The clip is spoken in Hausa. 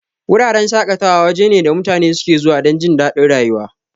Wuraren shaƙatawa waje ne da mutane suke zuwa dan jindadin rayuwa.